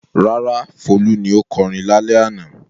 Rárá, Folú ni ó kọrin lálẹ́ àná.